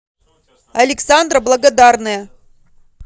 александра благодарная